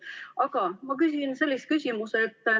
Aga ma küsin sellise küsimuse.